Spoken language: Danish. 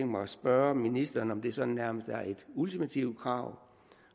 mig at spørge ministeren om det sådan nærmest er et ultimativt krav